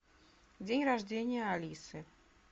день рождения алисы